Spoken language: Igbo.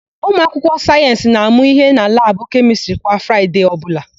Ụmụakwụkwọ sayensị na-amụ íhé na labụ kemịstrị kwa Fraịde ọbụla.